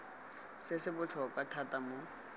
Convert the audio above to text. se se botlhokwa thata mo